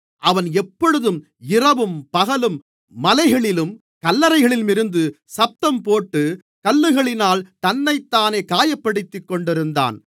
அவன் எப்பொழுதும் இரவும் பகலும் மலைகளிலும் கல்லறைகளிலும் இருந்து சத்தம்போட்டு கல்லுகளினால் தன்னைத்தானே காயப்படுத்திக்கொண்டிருந்தான்